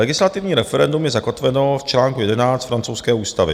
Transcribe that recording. Legislativní referendum je zakotveno v čl. 11 francouzské ústavy.